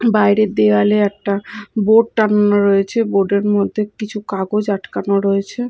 বাইরের দেওয়ালে একটা বোর্ড টাঙানো রয়েছে বোর্ড -এর মধ্যে কিছু কাগজ আটকানো রয়েছে।